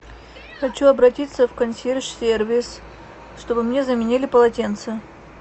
хочу обратиться в консьерж сервис чтобы мне заменили полотенце